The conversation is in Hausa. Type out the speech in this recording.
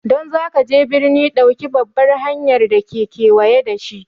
Don zagaje birni, ɗauki babbar hanyar da ke kewaye da shi.